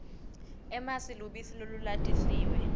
emasi lubisi lolulatisiwe